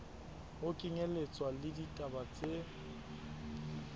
ho kenyelletswa le ditaba tse